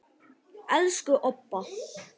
Elsku Obba.